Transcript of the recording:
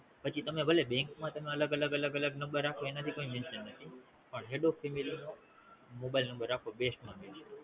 પછી તમે ભલે Bank માં અલગ અલગ અલગ અલગ એનો ભી કોઈ Sension નથી પણ Head of the family નો Mobile number રાખવો best માં best